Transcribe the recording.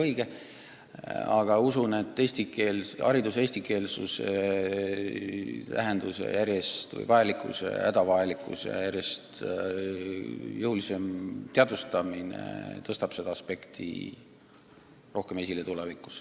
Üldiselt usun, et hariduse eestikeelsuse järjest suurema vajalikkuse, isegi hädavajalikkuse järjest jõulisem teadvustamine tõstab seda aspekti tulevikus rohkem esile.